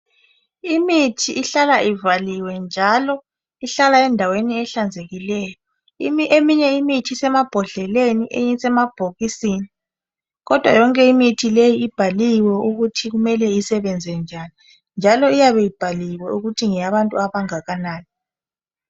Imithi ihlala ivaliwe, njalo ihlala endaweni ehlanzekileyo. Eminye imithi isemabhodleleni. Eyinye isemabhokisini, kodwa yonke imithi leyi ibhaliwe ukuthi kumele isebenze njani. Njalo iyabe ibhaliwe, ukuthi ngeyabantu abangakanani.